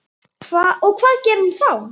Og hvað gerir hann þá?